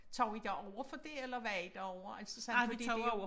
Tog i derover for det eller var i derovre altså sådan fordi det